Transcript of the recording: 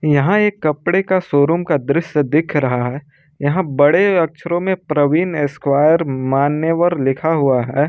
यहां एक कपड़े का शोरूम का दृश्य दिख रहा है यहां बड़े अक्षरों में प्रवीण स्क्वायर मान्यवर लिखा हुआ है।